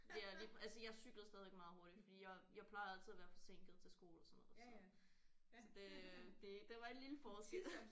Ja lige altså jeg cyklede stadigvæk meget hurtigt fordi jeg jeg plejede altid at være forsinket til skole og sådan noget så så det det der var en lille forskel